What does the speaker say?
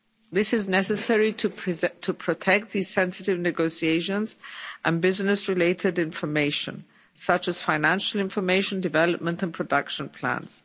This is necessary to protect these sensitive negotiations and business-related information, such as financial information, development and production plans.